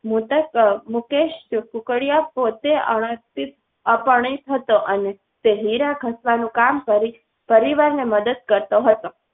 મૃતક મુકેશ કુકડિયા કો તે અર્થ અપરણિત હતો અને. તે હીરા ઘસવાનું કામ કરી પરિવાર ને મદદ કરતો હતો.